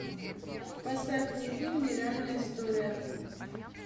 поставь мне фильм нереальная история